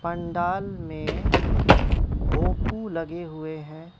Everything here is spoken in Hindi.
पंडाल में भोपू लगे हुए हैं।